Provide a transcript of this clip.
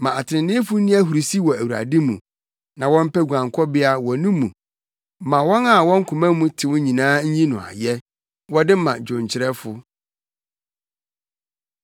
Ma atreneefo nni ahurusi wɔ Awurade mu na wɔmpɛ guankɔbea wɔ no mu; ma wɔn a wɔn koma mu tew nyinaa nyi no ayɛ! Wɔde ma dwonkyerɛfo.